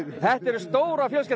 þetta er stórfjölskyldan